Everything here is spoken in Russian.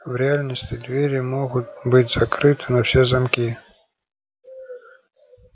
в реальности двери могут быть закрыты на все замки